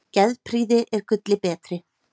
Geðprýði er gulli betri.